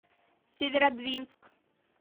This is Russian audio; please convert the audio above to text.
северодвинск